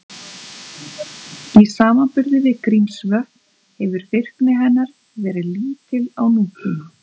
Í samanburði við Grímsvötn hefur virkni hennar verið lítil á nútíma.